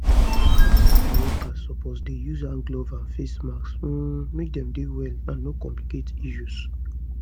health center workers suppose dey use hand gloves and face masks um make dey well and no complicate issues